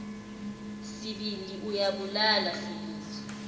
sibindi uyabulala sibindi